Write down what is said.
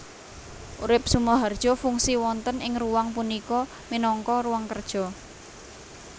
Urip SumoharjoFungsi wonten ing ruang punika minangka ruang kerja